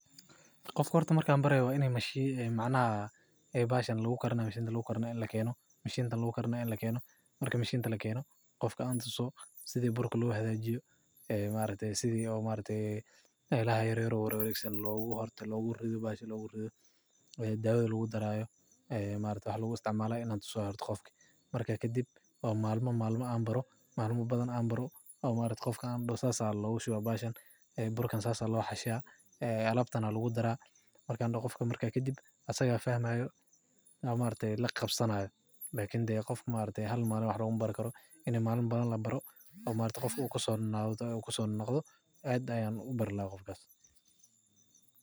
Qofka marka an barayo horta waa ini mashinta lagu kariyo lakeno marka kadib malma badan an baro an dahoho asaga aya fahmaya qofka marku koso nonoqdo aad ayan ujeclahay.